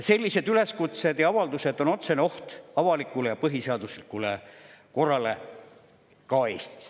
Sellised üleskutsed ja avaldused on otsene oht avalikule ja põhiseaduslikule korrale ka Eestis.